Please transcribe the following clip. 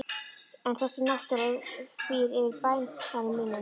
En þessi náttúra býr yfir banvænum mætti.